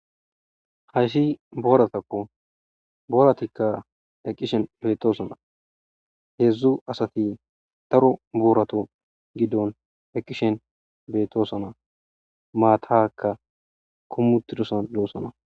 Hayshi booratakko booratikka eqqishen beetosana heedzdzu asati taro boorato giddon eqqishen beettosana maataka kommutidosan loossana